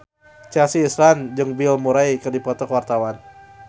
Chelsea Islan jeung Bill Murray keur dipoto ku wartawan